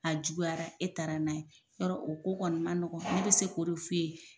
A juguyara e taara n'a ye, yɔrɔ o ko kɔni manɔgɔn ne bɛ se ko de fu ye.